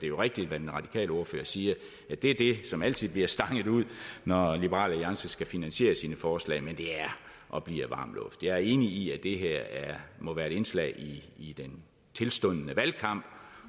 jo rigtigt hvad den radikale ordfører siger at det er det som altid bliver stanget ud når liberal alliance skal finansiere sine forslag men det er og bliver varm luft jeg er enig i at det her må være et indslag i den tilstundende valgkamp